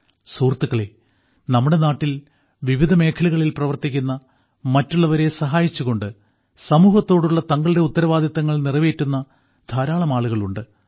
സുഹൃത്തുക്കളേ നമ്മുടെ നാട്ടിൽ വിവിധ മേഖലകളിൽ പ്രവർത്തിക്കുന്ന മറ്റുള്ളവരെ സഹായിച്ചുകൊണ്ട് സമൂഹത്തോടുള്ള തങ്ങളുടെ ഉത്തരവാദിത്തങ്ങൾ നിറവേറ്റുന്ന ധാരാളം ആളുകൾ ഉണ്ട്